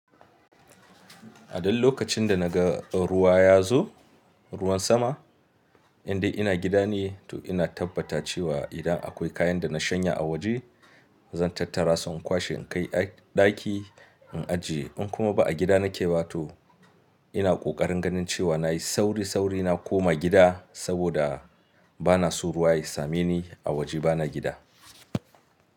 A dul lokacin da naga ruwa ya zo, ruwan sama, in dai ina gida ne to ina tabbata cewa, idan akwai kayan da na shanya a waje, zan tattara su in kwashe in kai a ɗaki, in ajiye. In kuma ba a gida nake ba to, ina ƙoƙarin ganin cewa nayi sauri sauri na koma gida, saboda, bana so ruwa ya same ni, a waje bana gida.